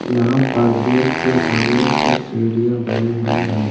यहाँ पर गेट के सामने कुछ सीढ़ियाँ बनी हुई है।